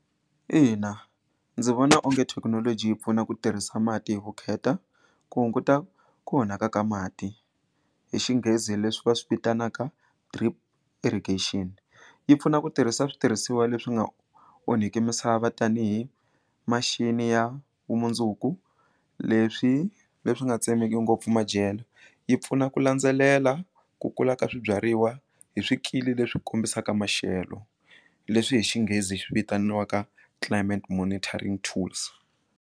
Ina ndzi vona onge thekinoloji yi pfuna ku tirhisa mati hi vukheta ku hunguta ku onhaka ka mati hi xinghezi leswi va swi vitanaka drip irrigation yi pfuna ku tirhisa switirhisiwa leswi nga onhiki misava tanihi ya vumundzuku leswi leswi nga tsemeki ngopfu madyelo yi pfuna ku landzelela ku kula ka swibyariwa hi swikili leswi kombisaka maxelo leswi hi xinghezi vitaniwaka climate monitoring tools.